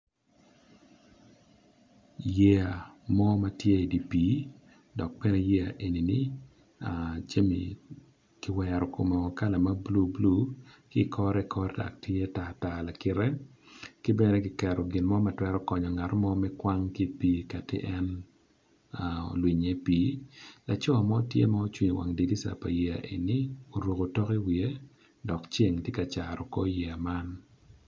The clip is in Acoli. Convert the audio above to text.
Yea mo matye i di pi dok bene yea enini jami kiwero kome kala mablue blue kikore kore dok tye tar tar kibene kiketo ginmo matwero konyo ngat mo me kwang ki pi kati en olwiny o i pi. Lacoo mo tye ma ocung i wang dirisa pa yea eni oruko tok i wiye dok ceng tye ka caro kor yea man.